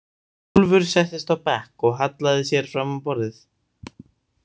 Úlfur settist á bekk og hallaði sér fram á borðið.